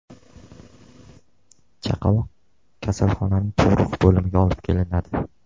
Chaqaloq kasalxonaning tug‘ruq bo‘limiga olib kelinadi.